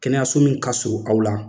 Kɛnɛyaso min ka suru aw la